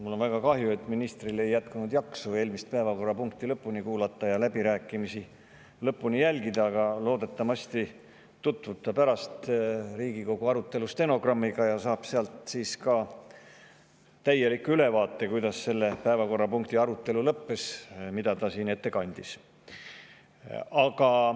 Mul on väga kahju, et ministril ei jätkunud jaksu eelmist päevakorrapunkti lõpuni kuulata ja läbirääkimisi lõpuni jälgida, aga loodetavasti tutvub ta pärast Riigikogu stenogrammiga ja saab sealt täieliku ülevaate selle kohta, kuidas selle arutelu lõppes, mida ta siin ette kandis.